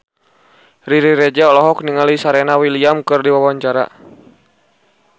Riri Reza olohok ningali Serena Williams keur diwawancara